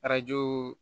Arajo